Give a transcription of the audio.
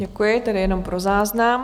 Děkuji, tedy jenom pro záznam.